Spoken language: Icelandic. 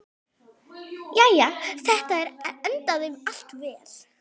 Jæja, þetta endaði allt vel.